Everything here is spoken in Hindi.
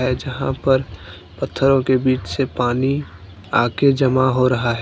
जहां पर पत्थरों बीच से पानी आके जमा हो रहा हैं।